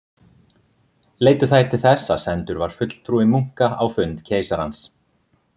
Leiddu þær til þess að sendur var fulltrúi munka á fund keisarans.